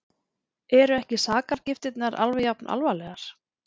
Eru ekki sakargiftirnar alveg jafn alvarlegar?